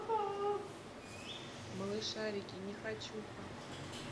малышарики нехочуха